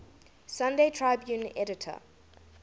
sunday tribune editor